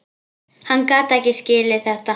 Hann gat ekki skilið þetta.